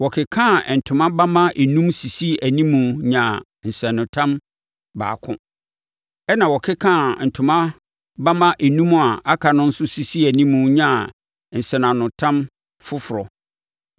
Wɔkekaa ntoma bamma enum sisii animu nyaa nsɛnanotam baako. Ɛnna wɔkekaa ntoma bamma enum a aka no nso sisii animu nyaa nsɛnanotam foforɔ.